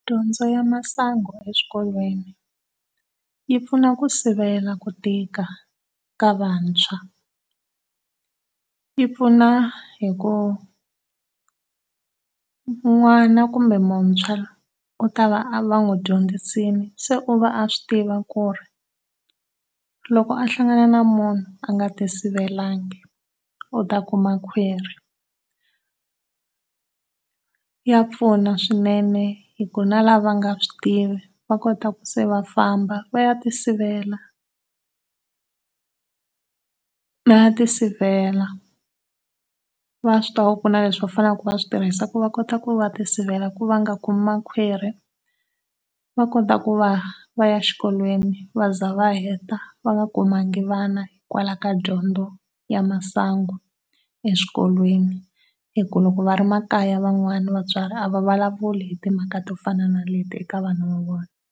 Dyondzo ya masangu eswikolweni yi pfuna ku sivela ku tika eka vantshwa, yi pfuna hikuva n'wana kumbe muntshwa u ta va va n'wi dyondzisile se u va a swi tivi ku ri loko a hlangana na munhu a nga ti sivelanga u ta kuma khwiri. Ya pfuna swinene hi ku na lava nga swi tivi va kota ku se va famba va ya ti sivela. Va ya ti sivela. Va swi tiva ku kuna leswi va fanelaka va swi tirhisa ku va kota ku va ti sivela ku va nga kumi makhwiri va kota ku va vaya exikolweni va ze va heta va nga kumanga vana hikwalaho ka dyondzo ya masangu eswikolweni hi ku loko va ri makaya van'wana vatswari a va vulavuli hi timhaka to fana na leti eka vana va vona.